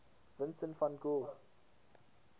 vincent van gogh